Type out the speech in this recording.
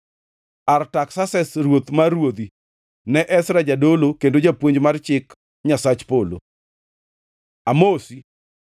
Artaksases, ruoth mar ruodhi, Ne Ezra jadolo kendo japuonj mar Chik Nyasach Polo: Amosi.